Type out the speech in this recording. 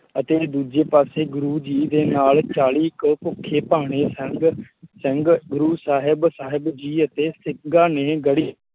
ਅਤੇ ਦੂਜੇ ਪਾਸੇ ਗੁਰੁ ਜੀ ਦੇ ਨਾਲ ਚਾਲੀ ਕੇ ਭੁੱਖੇ ਭਾਣੇ ਸਿੰਘ ਸਿੰਘ ਗੁਰੁ ਸਾਹਿਬ ਸਾਹਿਬ ਜੀ ਅਤੇ ਸਿੰਘਾ ਨੇ ਗੜ੍ਹੀ